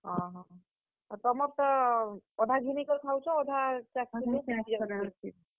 ଅହୋ, ଆଉ ତୁମର୍ ତ ଅଧା ଘିନି କରି ଖାଉଛ। ଆଉ ଅଧା ।